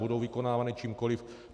Budou vykonávány čímkoliv.